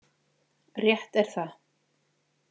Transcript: Rétt er það.